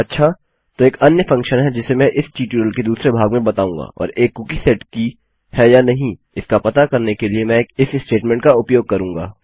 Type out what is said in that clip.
अच्छा तो एक अन्य फंक्शन है जिसे मैं इस ट्यूटोरियल के दूसरे भाग में बताऊंगा और एक कुकी सेट की है या नहीं इसका पता करने के लिए मैं एक इफ स्टेटमेंट का उपयोग करूँगा